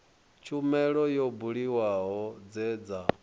tshumelo yo buliwaho dze dza